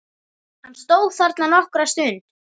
Hann stóð þarna nokkra stund.